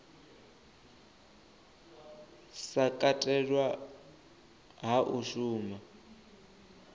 sa katelwa hu a shuma